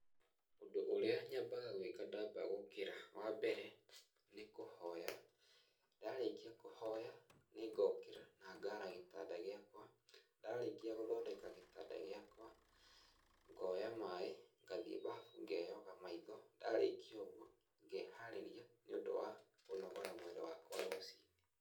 Ũndũ ũrĩa nyambaga gwĩka ndamba gũkĩra, wa mbere, nĩ kũhoya. Ndarĩkĩa kũhoya, nĩngokĩra na ngara gĩtanda gĩakwa, ndarĩkia gũthondeka gĩtanda gĩakwa, ngoya mai, ngathiĩ mbabu ngeoga maitho, ndarĩkia ũguo, ngeharĩria nĩũndũ wa kũnogora mwĩrĩ wakwa rũciinĩ.